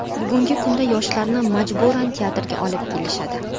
Bugungi kunda yoshlarni majburan teatrga olib kelishadi.